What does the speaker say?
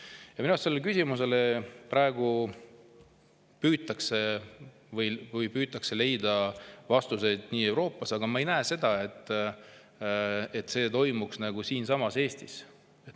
Minu arust püütakse sellele küsimusele praegu Euroopas vastuseid leida, aga ma ei näe, et see toimuks siinsamas Eestis.